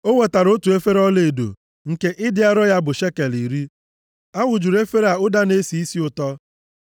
O wetara otu efere ọlaedo, nke ịdị arọ ya bụ shekel iri. A wụjuru efere a ụda na-esi isi ụtọ.